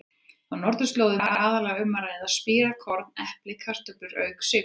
Á norðurslóðum er aðallega um að ræða spírað korn, epli eða kartöflur auk sykurs.